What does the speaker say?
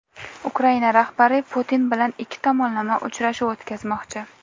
Ukraina rahbari Putin bilan ikki tomonlama uchrashuv o‘tkazmoqchi.